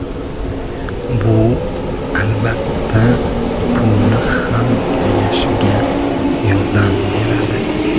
Bu, albatta, pulni ham tejashga yordam beradi.